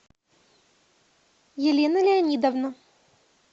елена леонидовна